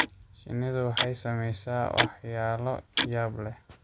Shinnidu waxay samaysaa waxyaalo yaab leh.